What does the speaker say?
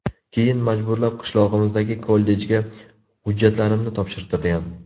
Keyin majburlab qishlog‘imizdagi kollejga hujjatlarimni topshirtirgan.